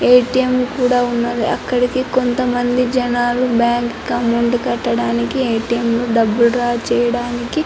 ATM. కూడా ఉన్నది అక్కడికి కొంత మంది జనాలు బ్యాంకు కి అమౌంట్ కట్టడానికి ఎ.టి.ఎం. లో డబ్బులు డ్రా చేయడటానికి.